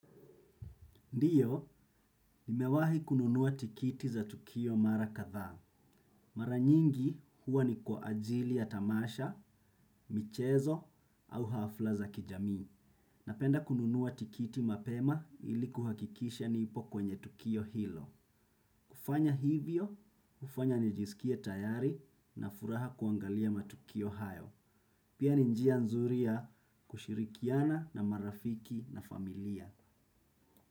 Ndiyo, nimewahi kununuwa tikiti za tukio mara kadhaa. Mara nyingi huwa ni kwa ajili ya tamasha, michezo au hafla za kijamii. Napenda kununua tikiti mapema ili kuhakikisha nipo kwenye tukio hilo. Kufanya hivyo, hufanya nijiskie tayari na furaha kuangalia matukio hayo. Pia ni njia nzuri ya kushirikiana na marafiki na familia.